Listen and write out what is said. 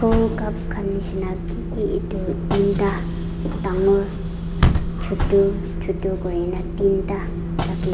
ru cup khan nishina kiki edu teenta dangor chutu chutu kurina teenta ra--